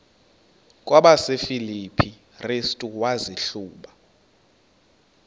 kwabasefilipi restu wazihluba